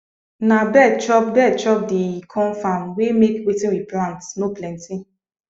na bird chop bird chop di corn farm wey make wetin we plant no plenty